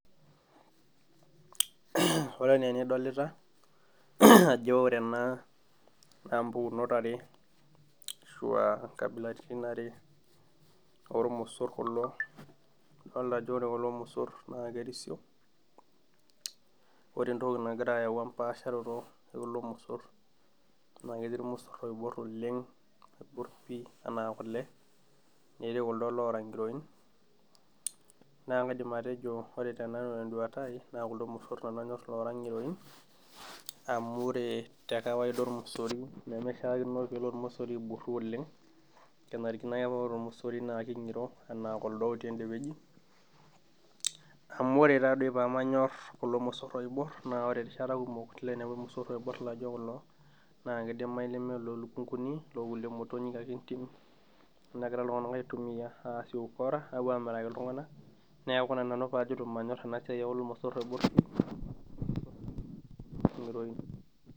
Ore enaa enidolita ajo ore ena naa mpukunot are ashua inkabilaritin are ormosorr kulo idolta ajo ore kulo mosorr naa kerisio ore entoki nagira ayau empasharoto e kulo mosorr naa ketii irmosorr oiborr oleng oiborr pii enaa kule netii kuldo loora ng'iroin naa kaidim atejo ore tenanu tenduata ai naa kuldo mosorr nanu anyorr loora ng'iroin amu ore te kawaida ormosori nemishiakino peelo ormosori aiborru oleng kenarikino ake naa ore ormosori naa king'iro enaa kuldo otii ende wueji amu ore taadoi pemanyorr kulo mosorr oiborr naore erishat kumok ilo ainepu irmosorr oiborr laijio kulo naa kidimai neme iloo lukunguni ilo kuliemotonyik ake entim nekira iltung'anak aitumiyia aasie ukora apuoamiraki iltung'anak neeku ina nanu paajito manyorr ena siai e ulo mosorr oiborr pii ng'iroin.